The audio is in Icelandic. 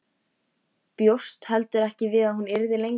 Bjóst heldur ekki við að hún yrði lengi.